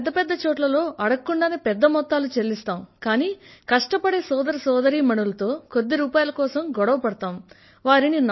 మనం పెద్ద పెద్ద చోట్లలో అడగకుండానే పెద్ద మొత్తాలు చెల్లిస్తాం కానీ కష్టపడే సోదర సోదరీమణులతో కొద్ది రూపాయిల కోసం గొడవ పడతాం